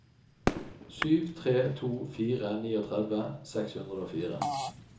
sju tre to fire trettini seks hundre og fire